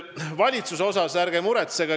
Valitsuse pärast ärge muretsege.